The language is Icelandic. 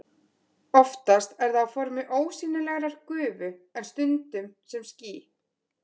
Oftast er það á formi ósýnilegrar gufu en stundum sem ský.